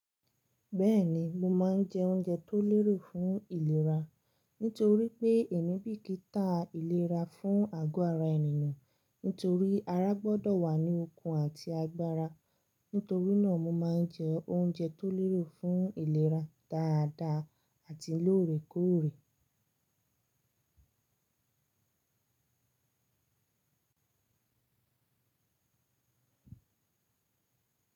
Bẹ́ẹ̀ni, mo máa ń jẹ oúnjẹ tó lérò fún ìlera. Nítorí pé ẹ̀mí bi kì í tà ìlera fún àgọ́ ara ènìyàn. Nítorí ara gbọ́dọ̀ wà ní okun àti agbára. Nítorí náà mo máa ń jẹ oúnjẹ tó lére fún ìlera dáadáa àti lóòrèkóòrè.